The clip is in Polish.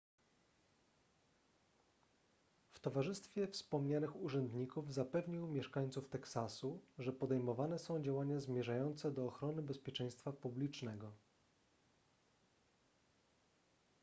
w towarzystwie wspomnianych urzędników zapewnił mieszańców teksasu że podejmowane są działania zmierzające do ochrony bezpieczeństwa publicznego